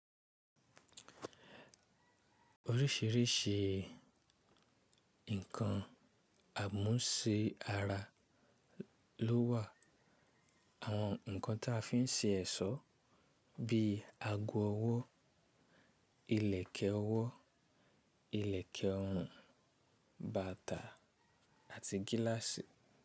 Oríṣìíríṣìí nǹkan àmúṣe ara ló wà. Àwọn nǹkan tá fi ńṣe ẹ̀ṣọ́. Bí ago ọwọ́, ìlẹ̀kẹ̀ ọwọ́, ìlẹ̀kẹ̀ ọrùn, bàtà àti gíláàsì.